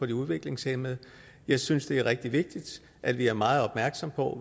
de udviklingshæmmede jeg synes det er rigtig vigtigt at vi er meget opmærksomme på